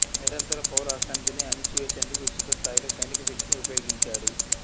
నిరంతర పౌర అశాంతిని అణిచివేసేందుకు విస్తృత స్థాయిలో సైనిక శక్తిని ఉపయోగించాడు